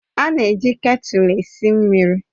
A na-eji ketulu eme esi mmiri